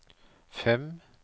fem